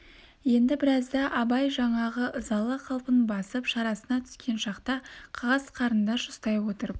енді біразда абай жаңағы ызалы қалпын басып шарасына түскен шақта қағаз қарындаш ұстай отырып